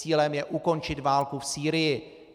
Cílem je ukončit válku v Sýrii.